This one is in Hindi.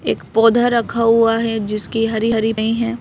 एक पौधा रखा हुआ है जिसकी हरी-हरी पई है।